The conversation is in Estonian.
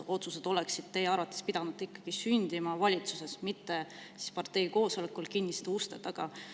Otsused oleksid teie arvates pidanud ikkagi sündima valitsuses, mitte parteikoosolekul kinniste uste taga.